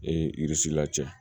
la cɛ